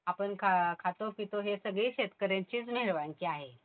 आपण खातो पितो हे सगळी शेतकऱ्यांचीच मेहेरबानगी आहे.